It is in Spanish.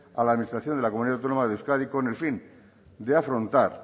a la administración de la comunidad autónoma de euskadi con el fin de afrontar